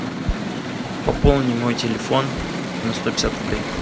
пополни мой телефон на сто пятьдесят рублей